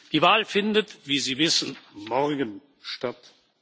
Die Wahl findet, wie Sie wissen, morgen statt.